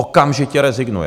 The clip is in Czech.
Okamžitě rezignuje.